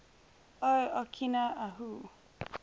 o okina ahu